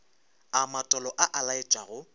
a matolo a a laetšago